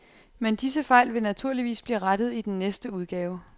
Men disse fejl vil naturligvis blive rettet i den næste udgave.